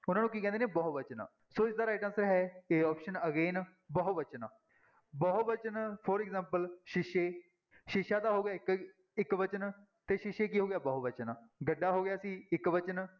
ਉਹਨਾਂ ਨੂੰ ਕੀ ਕਹਿੰਦੇ ਨੇ ਬਹੁ ਵਚਨ, ਸੋ ਇਸਦਾ right answer ਹੈ a option again ਬਹੁ ਵਚਨ, ਬਹੁ ਵਚਨ for example ਸ਼ੀਸ਼ੇ, ਸ਼ੀਸ਼ਾ ਤਾਂ ਹੋ ਗਿਆ ਇੱਕ, ਇੱਕਵਚਨ ਤੇ ਸ਼ੀਸ਼ੇ ਕੀ ਹੋ ਗਿਆ ਬਹੁਵਚਨ, ਗੱਡਾ ਹੋ ਗਿਆ ਸੀ ਇੱਕ ਵਚਨ